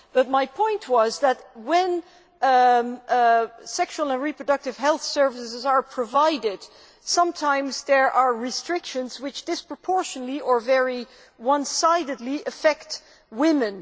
But my point was that when sexual and reproductive health services are provided, sometimes there are restrictions which disproportionately or very one sidedly affect women.